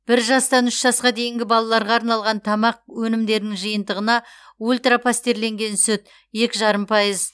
бір жастан үш жасқа дейінгі балаларға арналған тамақ өнімдерінің жиынтығына ультра пастерленген сүт екі жарым пайыз